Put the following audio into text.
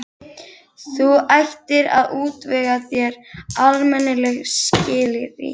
Þú ættir að útvega þér almennileg skilríki.